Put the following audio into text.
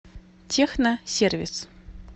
техно сервис